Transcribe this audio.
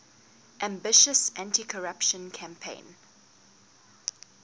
ambitious anticorruption campaign